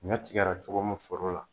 Ɲɔ tigɛra cogo min foro la